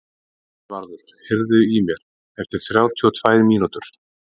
Kristvarður, heyrðu í mér eftir þrjátíu og tvær mínútur.